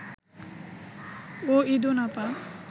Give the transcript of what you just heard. ও ঈদুন আপা